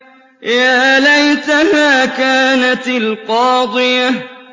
يَا لَيْتَهَا كَانَتِ الْقَاضِيَةَ